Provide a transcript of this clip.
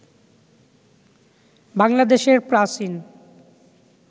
বাংলাদেশের প্রাচীন